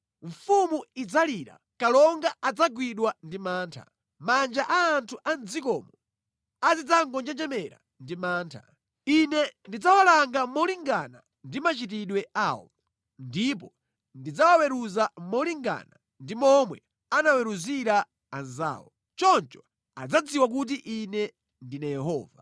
Mfumu idzalira, kalonga adzagwidwa ndi mantha. Manja a anthu a mʼdzikomo azidzangonjenjemera ndi mantha. Ine ndidzawalanga molingana ndi machitidwe awo, ndipo ndidzawaweruza molingana ndi momwe anaweruzira anzawo. Choncho adzadziwa kuti Ine ndine Yehova.”